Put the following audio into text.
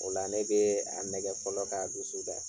O la ne bɛ a nɛgɛ fɔlɔ k'a dusu da.